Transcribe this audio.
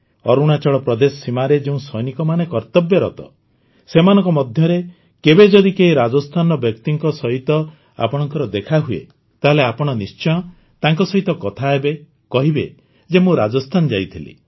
ଅରୁଣାଚଳ ପ୍ରଦେଶ ସୀମାରେ ଯେଉଁ ସୈନିକମାନେ କର୍ତବ୍ୟରତ ସେମାନଙ୍କ ମଧ୍ୟରେ କେବେ ଯଦି କେହି ରାଜସ୍ଥାନର ବ୍ୟକ୍ତିଙ୍କ ସହିତ ଆପଣଙ୍କ ଦେଖାହୁଏ ତାହେଲେ ଆପଣ ନିଶ୍ଚୟ ତାଙ୍କ ସହିତ କଥା ହେବେ କହିବେ ଯେ ମୁଁ ରାଜସ୍ଥାନ ଯାଇଥିଲି